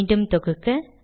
மீண்டும் தொகுக்க